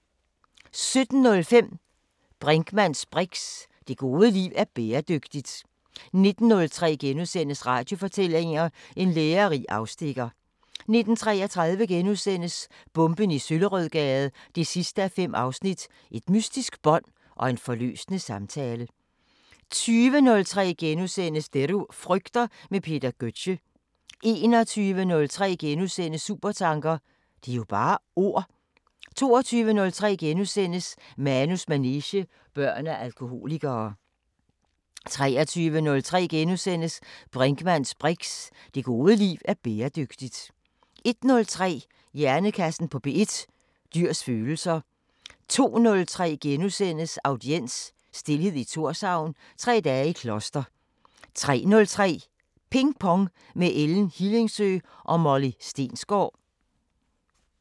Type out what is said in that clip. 17:05: Brinkmanns briks: Det gode liv er bæredygtigt 19:03: Radiofortællinger: En lærerig afstikker * 19:33: Bomben i Søllerødgade 5:5 – Et mystisk bånd og en forløsende samtale * 20:03: Det du frygter – med Peter Gøtzsche * 21:03: Supertanker: Det er jo bare ord... * 22:03: Manus manege: Børn af alkoholikere * 23:03: Brinkmanns briks: Det gode liv er bæredygtigt * 01:03: Hjernekassen på P1: Dyrs følelser 02:03: Audiens: Stilhed i Thorshavn – Tre dage i kloster * 03:03: Ping Pong – med Ellen Hillingsø og Molly Stensgaard